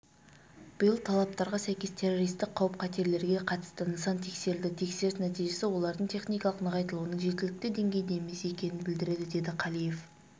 биыл талаптарға сәйкес террористік қауіп-қатерлерге қатысты нысан тексерілді тексеріс нәтижесі олардың техникалық нығайтылуының жеткілікті деңгейде емес екенін білдіреді деді қалиев